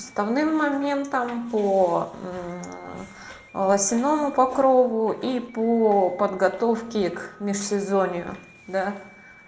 основным моментом по лосиному покрову и по подготовке к межсезонье да